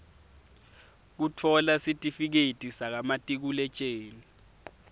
kutfola sitifiketi sakamatikuletjeni